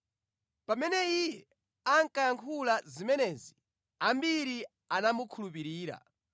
Pamene Iye ankayankhula zimenezi, ambiri anamukhulupirira.